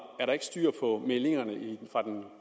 er der ikke styr på meldingerne fra den